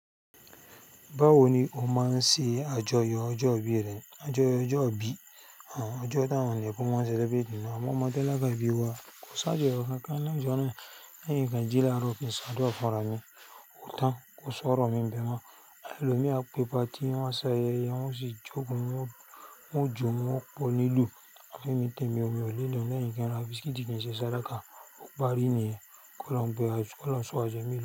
Báwo ni ó máa ń ṣe àjọyọ̀ ọjọ́ ìbí rẹ? Àjọyọ̀ ọjọ́ ìbí, ọjọ́ táwọn nepo máa ń celebrate ni àmọ́ ọmọ tálákà bí wa kò ṣàjọyọ̀ kankan lọjọ́ná. Lẹ́yìn kìn kánjú lároo kin ṣádúrà fún ara mi ó tán kò sọ̀rọ̀ mi ń bẹ ma. Ẹlòmí a pé party wọn ṣẹ̀ ayẹ́ye, wọn sì jókòó, wọn jó wọ́n pe onílù. Àmọ́ ẹmi tẹ̀mí omi ọ̀lẹ ló ń lẹ́yìn kí n ra biscuit kín ṣe sádaka. Ó parí nìyẹn kòlohun gbẹ wa ju, kòlohuń sọwa ju èmi lọ.